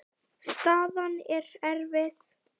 Staðan er erfið.